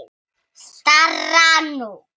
skárra nú.